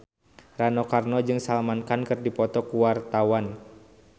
Rano Karno jeung Salman Khan keur dipoto ku wartawan